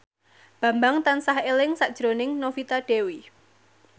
Bambang tansah eling sakjroning Novita Dewi